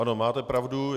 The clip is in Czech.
Ano, máte pravdu.